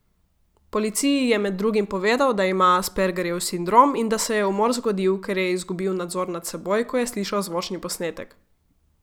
Policiji je med drugim povedal, da ima aspergerjev sindrom in da se je umor zgodil, ker je izgubil nadzor nad seboj, ko je slišal zvočni posnetek.